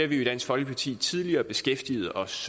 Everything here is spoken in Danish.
vi jo i dansk folkeparti tidligere beskæftiget os